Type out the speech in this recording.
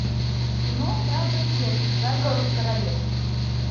кино храброе сердце заговор в королевстве